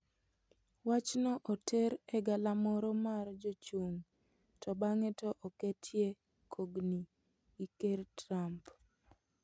Wachno oter e galamoro mar jochung to bang'e to oketie kogni gi ker Trump.